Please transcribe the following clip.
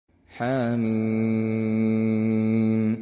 حم